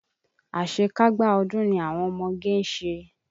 Àṣekágbá ọdún ni àwọn ọmọge ń ṣe.